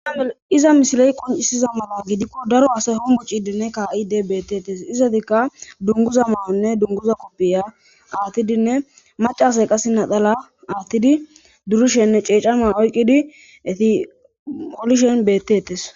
Ieiza misiley qoncisiza mala gidikko daro asay homucidinne kaa7ide beettettes izatikka dunguza ma7onne dunguza koppiya aattidinne macasay qase nadhala aattidi durushenne ceecama oyqqidi eti holishen bettetes